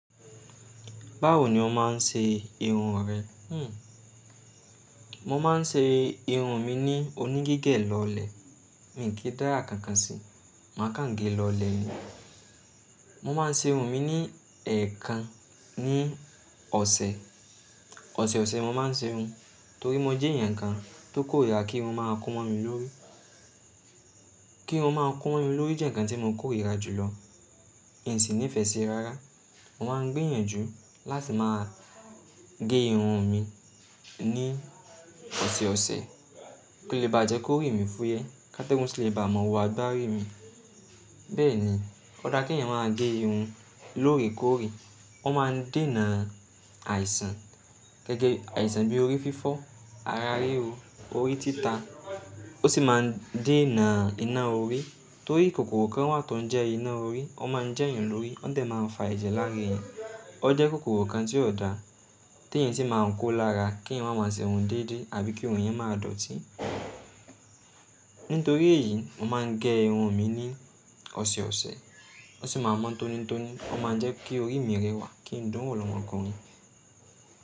Báwo ni o máa ń ṣe irun rẹ? Hmmm. Mo máa ń ṣe irun mi ní oní gígẹ̀ lọlẹ̀. Mi ò kí dára kankan si, màá kàn gé lọlẹ̀ ni. Mo máa ń ṣe irun mi ni ẹẹkan ní ọ̀sẹ̀. Ọ̀sẹ̀ ọ̀sẹ̀ mo máa ń ṣe irun torí mo jẹ́ èèyàn kan tó kórìíra kí irun máa kún mọ́ mi lórí. Kí irun máa kún mi lórí jẹ́ nǹkan tí mo kórìíra jùlọ. Ń sì nífẹ̀ẹ́ ṣi rárá. Mo máa ń gbìyànjú láti máa gé irun mi ní ọ̀sẹ̀ ọ̀sẹ̀ kí ó lè bá jẹ́ kórí mi fúyé, ká tẹ́gùn sì lè ba ọmọ wa agbárí mi. Bẹ́ẹ̀ni, ó dára kí ẹ̀yàn máa gé irun lórè kóòre. Ó máa ń dénà àìsàn gẹ́gẹ́ àìsàn bí i orí fífọ́, ara ríro, orí títà. Ó sì máa ń dénà iná orí torí kòkòrò kan wà tó ń jẹ́ iná orí. Ó máa ń jẹ́yàn lórí. Ó dẹ̀ máa ń fa ẹ̀jẹ̀ lára ẹ̀yàn. Ó jẹ́ kòkòrò kan tí ò da tí èèyàn sì máa ń kó lára kí ẹ̀yàn máa ma ṣe irun déédé àbí kí irun èyàn máa dọ̀tí. Nítorí èyí, mo máa ń gẹ irun mi ní ọ̀sẹ̀ ọ̀sẹ̀. Ó sì máa mọ́ tónítóní. Ó máa ń jẹ́ kí orí mi rẹwà kí n dùn wò lọ́mọkùnrin.